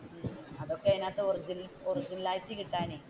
അതൊക്കെ അതിനകത്തു origioriginal ആയിട്ട് കിട്ടാനേ